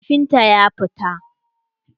Kafintan ya fita.